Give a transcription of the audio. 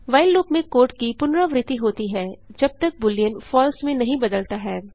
while loop में code की पुनरावृत्ति होती है जब तक बूलियन फलसे में नहीं बदलता है